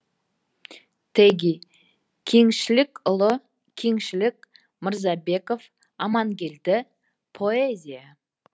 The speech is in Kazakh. теги кеңшілікұлы кеңшілік мырзабеков амангелді поэзия